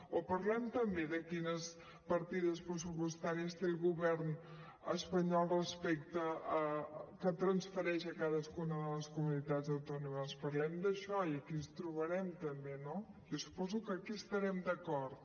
o parlem també de quines partides pressupostàries té el govern espanyol que transfereix a cadascuna de les comunitats autònomes parlem d’això i aquí ens trobarem també no jo suposo que aquí hi estarem d’acord